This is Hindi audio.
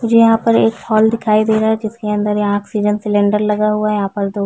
मुझे यहाँ पर एक हॉल दिखाई दे रहा है जिसके अंदर यहाँ ऑक्सीजन सिलिंडर लगा हुआ है यहाँ पर दो--